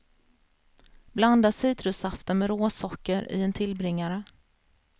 Blanda citrussaften med råsocker i en tillbringare.